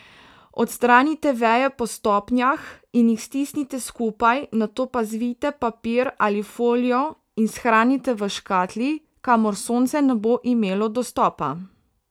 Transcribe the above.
Odstranite veje po stopnjah in jih stisnite skupaj, nato pa zavijte v papir ali folijo in shranite v škatli, kamor sonce ne bo imelo dostopa.